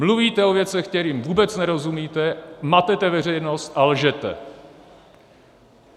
Mluvíte o věcech, kterým vůbec nerozumíte, matete veřejnost a lžete!